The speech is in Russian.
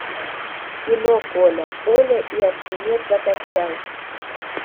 кино коля оля и архимед закачай